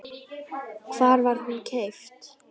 Hvar var hún keypt?